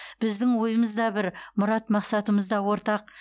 біздің ойымыз да бір мұрат мақсатымыз да ортақ